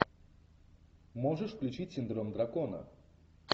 можешь включить синдром дракона